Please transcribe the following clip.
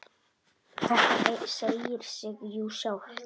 Þetta segir sig jú sjálft!